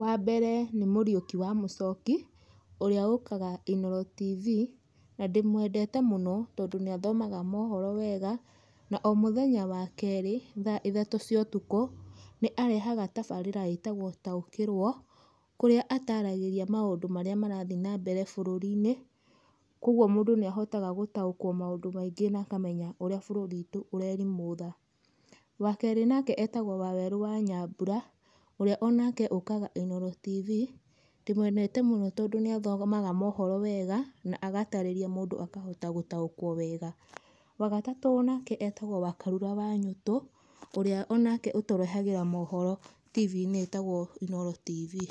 Wambere nĩ Mũriũki wa Mũchoki ũrĩa ũkaga Inooro Tv, na ndĩmwendete mũno tondũ nĩathomaga mohoro wega, na o mũthenya wa kerĩ thaa ithatũ cia ũtukũ nĩarehaga tabarĩra ĩtagwo Taũkĩrwo kũrĩa ataragĩria maũndũ marĩa marathiĩ na mbere bũrũrinĩ, koguo mũndũ nĩahotaga gũtaũkwo maũndũ maingĩ na akamenya ũrĩa bũrũri witũ ũrerimũtha. Wakerĩ nake ĩtagwo Wawerũ wa Nyambura ũrĩa o nake ũkaga Inooro Tv, ndĩmwendete mũno tondũ nĩathomaga mohoro wega, na agatarĩria mũndũ akahota gũtaũkwo wega. Wagatatũ onake etagwo Wakarura wa Nyũtũ, ũrĩa nake ũtũrehagĩra mohoro tibii-inĩ ĩtagwo Inooro Tv.